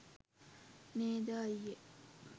නේද අය්යේ